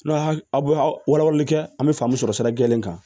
N'a aw wala walali kɛ an bɛ faamu sɔrɔ sira jɛlen kan